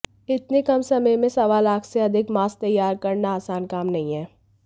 इतने कम समय में सवा लाख से अधिक मास्क तैयार करना आसान काम नहीं है